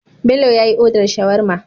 Bello yyi order shawarma